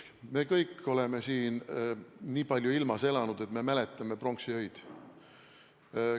Me kõik oleme nii palju siin ilmas elanud, et me mäletame pronksiöid.